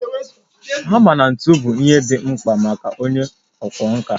Hama na ntu bụ ihe dị mkpa maka onye ọkwá nkà